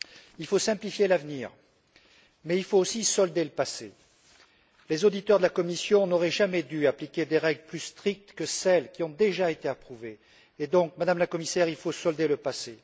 Il faut simplifier l'avenir, mais il faut aussi solder le passé. Les auditeurs de la Commission n'auraient jamais dû appliquer des règles plus strictes que celles qui ont déjà été approuvées et donc, Madame la Commissaire, il faut solder le passé.